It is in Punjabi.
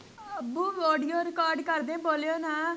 ਅੱਬੂ audio record ਕਰਦੇ ਬੋਲੋਓ ਨਾ